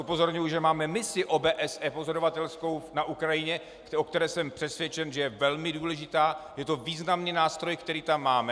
Upozorňuji, že máme misi OBSE pozorovatelskou na Ukrajině, o které jsem přesvědčen, že je velmi důležitá, je to významný nástroj, který tam máme.